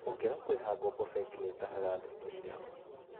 ũngĩaga kũrĩha ngombo bengi nĩtahaga andũ indo ciao